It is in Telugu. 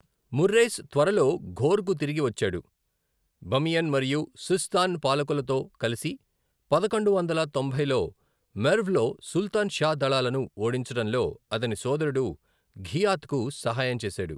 మొర్రేస్ త్వరలో ఘోర్కు తిరిగి వచ్చాడు, బమియన్ మరియు సిస్తాన్ పాలకులతో కలిసి పదకొండు వందల తొంభైలో మెర్వ్లో సుల్తాన్ షా దళాలను ఓడించడంలో అతని సోదరుడు ఘియాత్కు సహాయం చేశాడు.